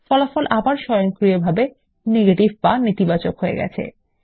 ফল আবার স্বয়ংক্রিয়ভাবে নেতিবাচক এ পরিবর্তন হবে